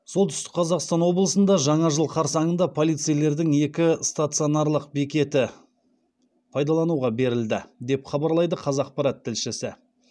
солтүстік қазақстан облысында жаңа жыл қарсаңында полицейлердің екі стационарлық бекеті пайдалануға берілді деп хабарлайды қазақпарат тілшісі